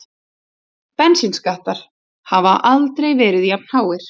Bensínskattar hafa aldrei verið jafnháir